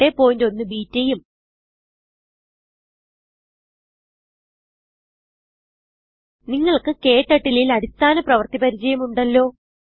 081 ബെട്ട ഉം നിങ്ങൾക്ക് ക്ടർട്ടിൽ ൽ അടിസ്ഥാന പ്രവൃത്തി പരിചയം ഉണ്ടല്ലോ